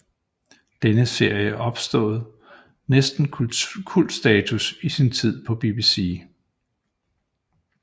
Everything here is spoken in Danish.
Denne serie opnåede næsten kultstatus i sin tid på BBC